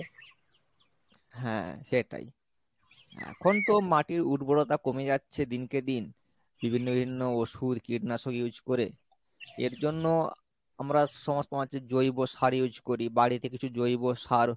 হ্যাঁ সেটাই এখন তো মাটির উর্বরতা কমে যাচ্ছে দিনকে দিন বিভিন্ন বিভিন্ন ওষুধ কীটনাশক use কোরে এর জন্য আমরা সমস্ত মাঠে জৈব সার use করি বাড়িতে কিছু জৈব সার